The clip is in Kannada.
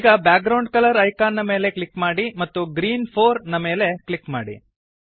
ಈಗ ಬ್ಯಾಕ್ಗ್ರೌಂಡ್ ಕಲರ್ ಐಕಾನ್ ನ ಮೇಲೆ ಕ್ಲಿಕ್ ಮಾಡಿ ಮತ್ತು ಗ್ರೀನ್ 4 ನ ಮೇಲೆ ಕ್ಲಿಕ್ ಮಾಡಿ